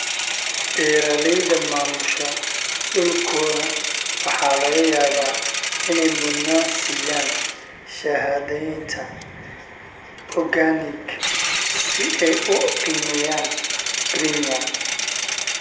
Beeralayda maamusha dhulkooda waxa laga yaabaa inay mudnaan siiyaan shahaadaynta organic si ay u qiimeeyaan premium.